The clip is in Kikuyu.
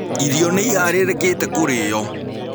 Irio nĩĩharĩrĩkĩte kũrio.